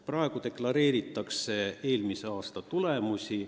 Praegu deklareeritakse eelmise aasta tulemusi.